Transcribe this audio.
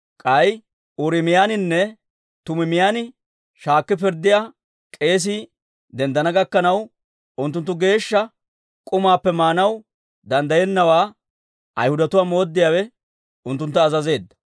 K'ay Uuriimiyaaninne Tumiimiyaan shaakki pirddiyaa k'eesii denddana gakkanaw, unttunttu geeshsha k'umaappe maanaw danddayennawaa Ayhudatuwaa mooddiyaawe unttuntta azazeedda.